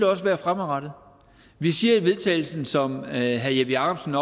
også være fremadrettet vi siger i vedtagelsen som herre jeppe jakobsen